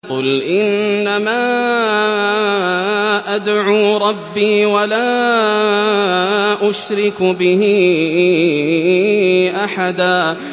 قُلْ إِنَّمَا أَدْعُو رَبِّي وَلَا أُشْرِكُ بِهِ أَحَدًا